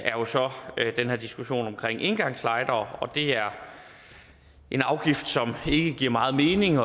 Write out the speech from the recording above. er så den her diskussion omkring engangslightere og det er en afgift som ikke giver meget mening